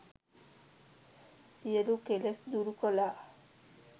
සියලු කෙලෙස් දුරු කළා.